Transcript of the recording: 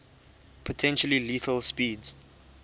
potentially lethal speeds